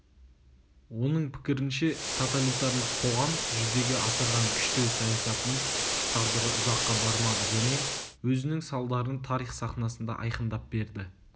оның пікірінше тоталитарлық қоғам жүзеге асырған күштеу саясатының тағдыры ұзаққа бармады және өзінің салдарын тарих сахнасында айқындап берді